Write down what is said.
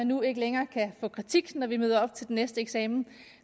nu ikke længere kan få kritik når vi møder op til den næste eksamen